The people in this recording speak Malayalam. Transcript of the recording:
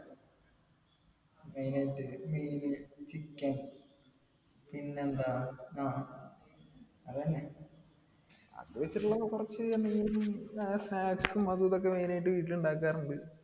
main ആയിട്ട് മീൻ chicken പിന്നെന്താ ആഹ് അതെന്നെ അത് വെച്ചിട്ടുള്ള കൊറച്ചെന്തെങ്കിലു snacks ഉം അതും ഇതൊക്കെ main ആയിട്ട് വീട്ടിൽ ഇണ്ടാക്കാർ ഇൻഡ്